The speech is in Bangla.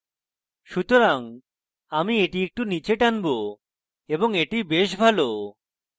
সুতরাং আমি এটি একটু নীচে টানব এবং এটি বেশ ভালো